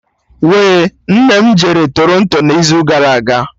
We, nne m jere Toronto n'izu gara aga